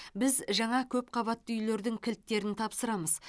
біз жаңа көпқабатты үйлердің кілттерін тапсырамыз